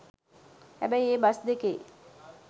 හැබැයි ඒ බස් දෙකේ